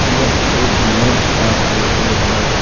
यह एक लेख का फोटो है।